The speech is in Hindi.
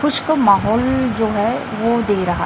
कुछ को माहौल जो है वो दे रहा--